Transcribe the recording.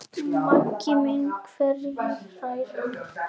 Megi mig hvergi hræra.